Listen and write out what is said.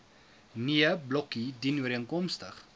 nee blokkie dienooreenkomstig